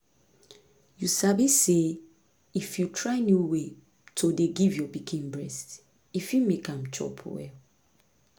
you sabi say if you try new way to dey give your pikin breast e fit make am chop well